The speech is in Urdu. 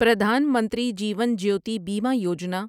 پردھان منتری جیون جیوتی بیمہ یوجنا